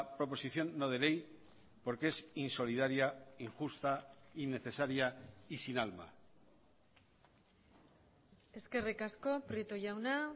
proposición no de ley porque es insolidaria injusta innecesaria y sin alma eskerrik asko prieto jauna